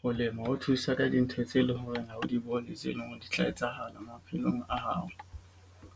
Ho lema ho thusa ka dintho tse leng hore ha o di bone tse leng hore di tla etsahala maphelong a hao.